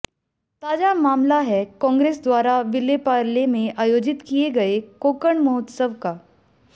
ताजा मामला है कांग्रेस द्वारा विलेपार्ले में आयोजित किए गए कोकण महोत्सव का